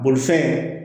Bolifɛn